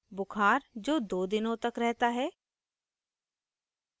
बुखार जो 2 दिनों तक रहता है